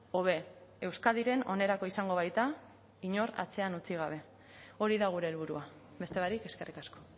hobe euskadiren onerako izango baita inor atzean utzi gabe hori da gure helburua beste barik eskerrik asko